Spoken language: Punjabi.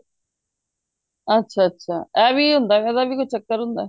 ਅੱਛਾ ਅੱਛਾ ਇਹ ਵੀ ਹੁੰਦਾ ਇਹਦਾ ਵੀ ਕੋਈ ਚਕਰ ਹੁੰਦਾ